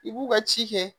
I b'u ka ci kɛ